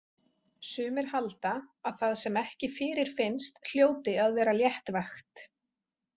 Sumir halda að það sem ekki fyrirfinnst hljóti að vera léttvægt.